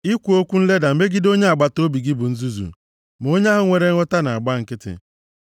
Ikwu okwu nleda megide onye agbataobi gị bụ nzuzu; ma onye ahụ nwere nghọta na-agba nkịtị.